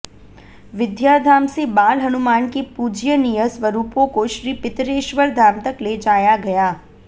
विद्याधाम से बाल हनुमान के पूज्यनीय स्वरूपों को श्री पितरेश्वर धाम तक ले जाया गया